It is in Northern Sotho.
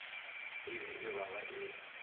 e be e baba e